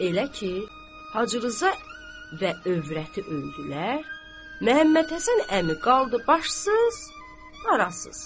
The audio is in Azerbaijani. Elə ki, Hacı Rza və övrəti öldülər, Məhəmməd Həsən əmi qaldı başsız, arasız.